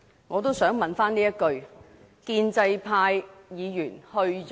我也想問一句，建制派議員去了哪裏？